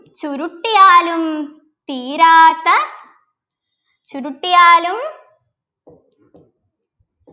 ചുരുട്ടിയാലും തീരാത്ത ചുരുട്ടിയാലും